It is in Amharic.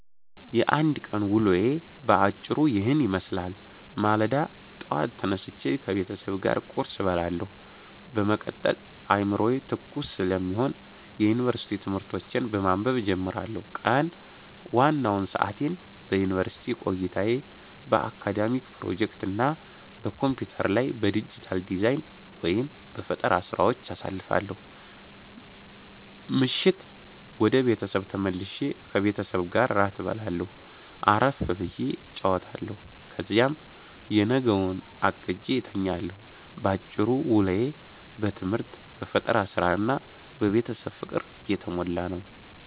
የአንድ ቀን ውሎዬ በአጭሩ ይህንን ይመስላል፦ ማለዳ፦ ጠዋት ተነስቼ ከቤተሰብ ጋር ቁርስ እበላለሁ፤ በመቀጠል አዕምሮዬ ትኩስ ስለሚሆን የዩኒቨርሲቲ ትምህርቶቼን በማንበብ እጀምራለሁ። ቀን፦ ዋናውን ሰዓቴን በዩኒቨርሲቲ ቆይታዬ፣ በአካዳሚክ ፕሮጀክቶች እና በኮምፒውተር ላይ በዲጂታል ዲዛይን/በፈጠራ ሥራዎች አሳልፋለሁ። ምሽት፦ ወደ ቤት ተመልሼ ከቤተሰቤ ጋር እራት እበላለሁ፣ አረፍ ብዬ እጫወታለሁ፤ ከዚያም የነገውን አቅጄ እተኛለሁ። ባጭሩ፤ ውሎዬ በትምህርት፣ በፈጠራ ሥራ እና በቤተሰብ ፍቅር የተሞላ ነው።